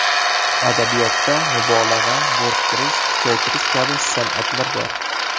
Adabiyotda mubolag‘a, bo‘rttirish, kuchaytirish kabi san’atlar bor.